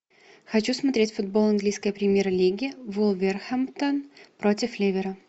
хочу смотреть футбол английской премьер лиги вулверхэмптон против ливера